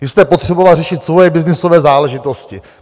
Vy jste potřeboval řešit svoje byznysové záležitosti.